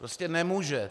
Prostě nemůže.